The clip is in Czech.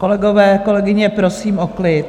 Kolegové, kolegyně, prosím o klid.